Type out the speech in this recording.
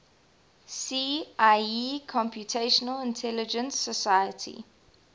see ieee computational intelligence society